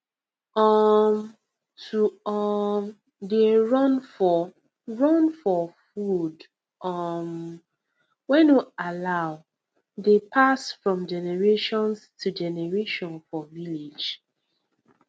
um to um dey run for run for food um wey no allow dey pass from generations to generation for village